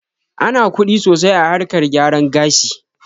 Ana kuɗi sosai a harkar gyaran gashi